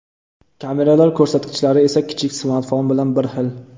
Kameralar ko‘rsatkichlari esa kichik smartfon bilan bir xil.